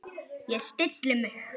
Ég stilli mig.